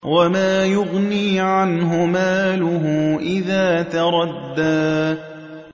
وَمَا يُغْنِي عَنْهُ مَالُهُ إِذَا تَرَدَّىٰ